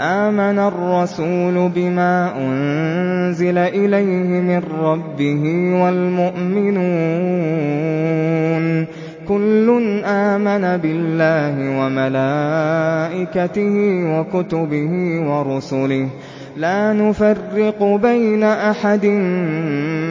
آمَنَ الرَّسُولُ بِمَا أُنزِلَ إِلَيْهِ مِن رَّبِّهِ وَالْمُؤْمِنُونَ ۚ كُلٌّ آمَنَ بِاللَّهِ وَمَلَائِكَتِهِ وَكُتُبِهِ وَرُسُلِهِ لَا نُفَرِّقُ بَيْنَ أَحَدٍ